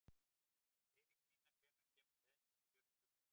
Eiríksína, hvenær kemur leið númer fjörutíu og fjögur?